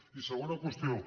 i segona qüestió